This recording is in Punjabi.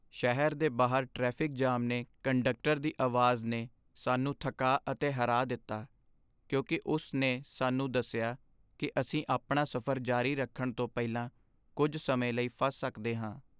ਸ਼ਹਿਰ ਦੇ ਬਾਹਰ ਟ੍ਰੈਫਿਕ ਜਾਮ ਨੇ ਕੰਡਕਟਰ ਦੀ ਆਵਾਜ਼ ਨੇ ਸਾਨੂੰ ਥੱਕਾ ਅਤੇ ਹਰਾ ਦਿੱਤਾ ਕਿਉਂਕਿ ਉਸ ਨੇ ਸਾਨੂੰ ਦੱਸਿਆ ਕਿ ਅਸੀਂ ਆਪਣਾ ਸਫ਼ਰ ਜਾਰੀ ਰੱਖਣ ਤੋਂ ਪਹਿਲਾਂ ਕੁੱਝ ਸਮੇਂ ਲਈ ਫਸ ਸਕਦੇ ਹਾਂ।